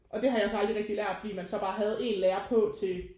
Og det har jeg så aldrig rigtig lært fordi man så bare havde en lærer på til